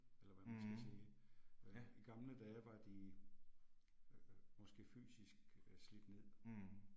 Eller hvad man skal sige. Øh i gamle dage var de øh måske fysisk øh slidt ned